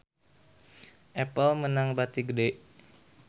Apple meunang bati gede